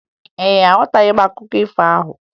Ee, aghọtara m akụkọ ifo ahụ